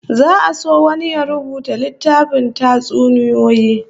Za'a so wani ya rubuta littafin tatsuniyoyi